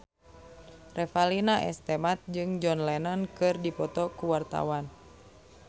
Revalina S. Temat jeung John Lennon keur dipoto ku wartawan